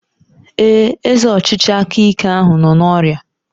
Ee, eze ọchịchị aka ike ahụ nọ n'ọrịa.